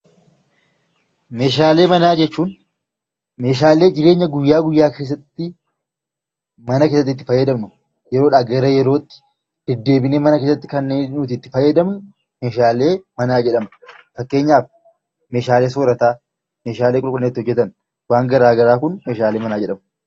Meeshaalee manaa jechuun meeshaalee guyyaa guyyaa keessatti mana keessatti itti fayyadamnu yeroodhaa yerootti deddeebinee mana keessatti kan nuti itti fayyadamnu meeshaalee manaa jedhama. Fakkeenyaaf meeshaalee soorataa, meeshaalee qulqullinaa fi wanti garaagaraa kun meeshaalee manaa jedhamu.